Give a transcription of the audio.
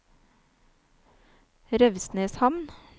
Revsneshamn